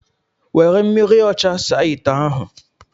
Were mmiri ocha saa ite ahu